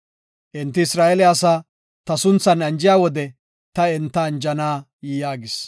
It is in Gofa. “Enti Isra7eele asaa ta sunthan anjiya wode ta enta anjana” yaagis.